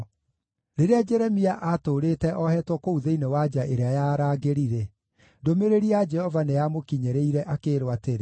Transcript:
Rĩrĩa Jeremia aatũũrĩte oheetwo kũu thĩinĩ wa nja ĩrĩa ya arangĩri-rĩ, ndũmĩrĩri ya Jehova nĩyamũkinyĩrĩire akĩĩrwo atĩrĩ: